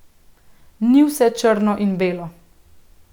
Ni vse črno in belo.